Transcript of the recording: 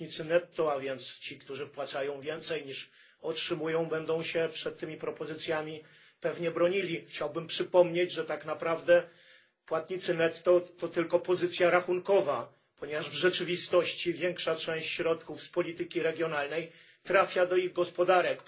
płatnicy netto, a więc ci, którzy wpłacają więcej, niż otrzymują, będą się przed tymi propozycjami pewnie bronili chciałbym przypomnieć, że tak naprawdę płatnicy netto to tylko pozycja rachunkowa, ponieważ w rzeczywistości większa część środków z polityki regionalnej trafia do ich gospodarek.